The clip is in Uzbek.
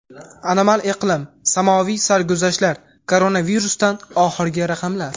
Anomal iqlim, samoviy sarguzashtlar, koronavirusdan oxirgi raqamlar.